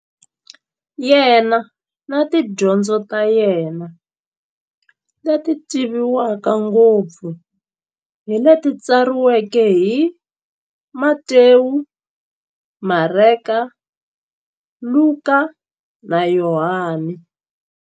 Yena na tidyondzo ta yena, leti tivekaka ngopfu hi leti tsariweke hi-Matewu, Mareka, Luka, na Yohani.